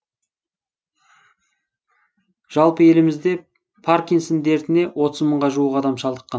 жалпы елімізде паркинсон дертіне отыз мыңға жуық адам шалдыққан